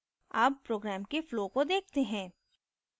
अब program के flow को देखते हैं